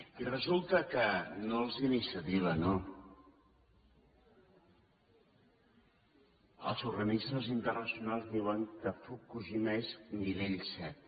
i resulta que no els d’iniciativa no els organismes internacionals diuen que fukushima és nivell set